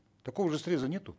такого же среза нету